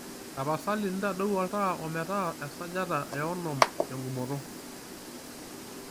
tapasali ntadoi oltaa ometaa esajata eonom tengumoto